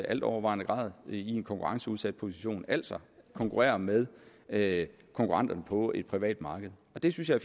altovervejende grad i en konkurrenceudsat position altså konkurrerer med med konkurrenter på et privat marked det synes jeg